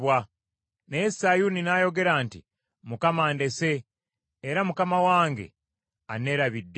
Naye Sayuuni n’ayogera nti, “ Mukama andese, era Mukama wange anneerabidde.”